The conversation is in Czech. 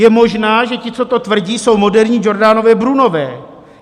Je možné, že ti, co to tvrdí, jsou moderní Giordanové Brunové.